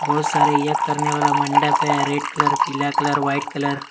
बहुत सारे यज्ञ करने वाला मंडप है रेड कलर पीला कलर वाइट कलर ।